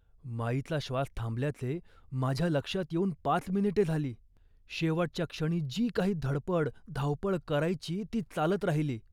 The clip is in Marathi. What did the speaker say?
माईचा श्वास थांबल्याचे माझ्या लक्षात येऊन पाच मिनिटे झाली. शेवटच्या क्षणी जी काही धडपड, धावपळ करायची ती चालत राहिली